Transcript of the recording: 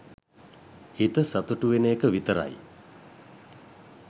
හිත සතුටු වෙන එක විතරයි.